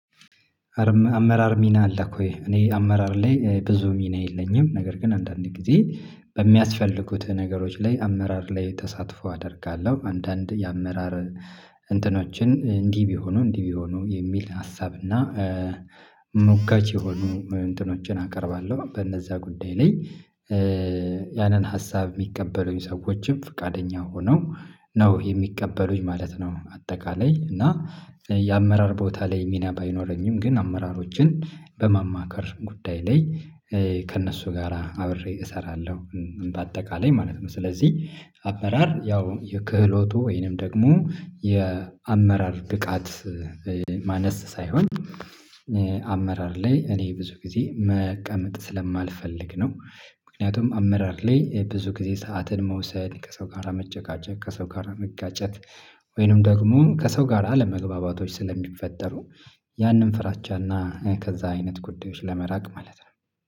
አመራር ሚና አለ እኮ እኔ አመራር ላይ ብዙ ሚና የለኝም። ነገር ግን አንዳንዴ ጊዜ በሚያስፈልጉት ነገሮች ላይ አመራር ላይ ተሳትፎ አደርጋለሁ። አንዳንድ የአመራር እንትኖችን እንዲህ ቢሆኑ እንዲህ ቢሆኑ የሚል ሀሳብና ሞጋች የሆኑ እንትኖችን አቀርባለሁ በእነዛ ጉዳይ ላይ። ያንን ሀሳብ የሚቀበሉኝ ሰዎችም ፈቃደኛ ሆነው ነው የሚቀበሉኝ ማለት ነው። አጠቃላይ እና የአመራር ቦታ ላይ ሚና ባይኖረኝም ግን አመራሮችን በማማከር ጉዳይ ላይ ከእነሱ ጋራ አብሬ እሰራለሁ። በአጠቃላይ ማለት ነው። ስለዚህ አመራር ያው የክህሎቱ ወይንም ደግሞ የአመራር ብቃት ማነስ ሳይሆን አመራር ላይ እኔ ብዙ ጊዜ መቀመጥ ስለማልፈልግ ነው። ምክንያቱም አመራር ላይ ብዙ ጊዜ ሰዓትን መውሰድ ከሰው ጋር መጨቃጨት ከሰው ጋር መጋጨት ወይንም ደግሞ ከሰው ጋር አለመግባባቶች ስለሚፈጠሩ። ያንን ፍራቻና ከዛ አይነት ጉዳዮች ለመራቅ ማለት ነው።